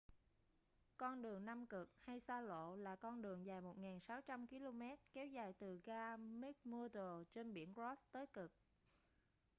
con đường nam cực hay xa lộ là con đường dài 1600 km kéo dài từ ga mcmurdo trên biển ross tới cực